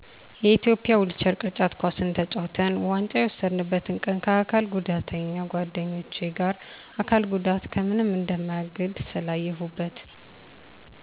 የኢትዮጵያ ዊልቸር ቅርጫት ኳስ ተጫውተን ዋንጫ የወሰድነበትን ቀን ከአካል ጉዳተኛ ጓደኞቸ ጋር አካል ጉዳት ከምንም እንደማያግድ ስላየሁበት